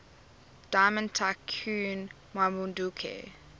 diamond tycoon nwabudike